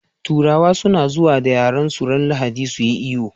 Turawa suna zuwa da yaransu ran lahadi suyi iyo